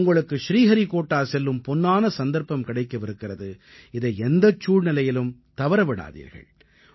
உங்களுக்கு ஸ்ரீஹரிக்கோட்டா செல்லும் பொன்னான சந்தர்ப்பம் கிடைக்கவிருக்கிறது இதை எந்தச் சூழ்நிலையிலும் தவற விடாதீர்கள்